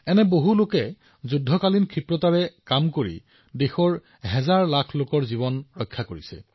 এনে বহু লোকে যুদ্ধগতিত কাম কৰি হাজাৰ হাজাৰ লোকৰ জীৱন ৰক্ষা কৰিছে